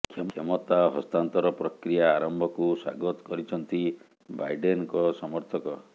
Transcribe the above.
କ୍ଷମତା ହସ୍ତାନ୍ତର ପ୍ରକ୍ରିୟା ଆରମ୍ଭକୁ ସ୍ୱାଗତ କରିଛନ୍ତି ବାଇଡେନଙ୍କ ସମର୍ଥକ